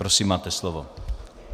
Prosím máte slovo.